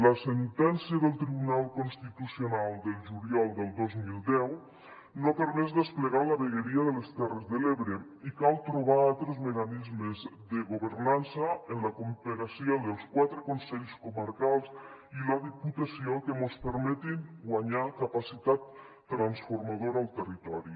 la sentència del tribunal constitucional del juliol del dos mil deu no ha permès desplegar la vegueria de les terres de l’ebre i cal trobar altres mecanismes de governança en la cooperació dels quatre consells comarcals i la di·putació que mos permetin guanyar capacitat transformadora al territori